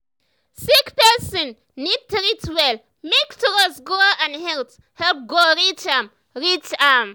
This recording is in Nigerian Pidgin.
sick person need treat well make trust grow and health help go reach am. reach am.